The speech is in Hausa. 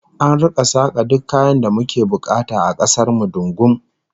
An rika saka duk kayan da muke bukata a kasar mu dungum